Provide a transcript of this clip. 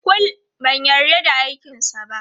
Kul, ban yarda da aikinsa ba.